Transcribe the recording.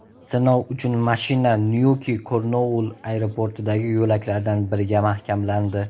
Sinov uchun mashina Nyuki-Kornuoll aeroportidagi yo‘laklardan biriga mahkamlandi.